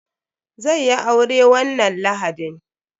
Zai yi aure wannan lahadin.